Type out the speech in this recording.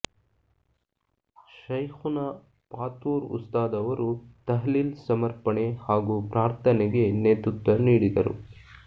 ಶೈಖುನಾ ಪಾತೂರ್ ಉಸ್ತಾದ್ ಅವರು ತಹ್ಲೀಲ್ ಸಮರ್ಪಣೆ ಹಾಗು ಪ್ರಾರ್ಥನೆಗೆ ನೇತೃತ್ವ ನೀಡಿದರು